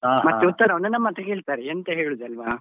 ಮತ್ತೆ ಉತ್ತರವನ್ನು ನಮ್ಮತ್ರ ಕೇಳ್ತಾರೆ ಎಂತ ಹೇಳುದು ಅಲ್ವ.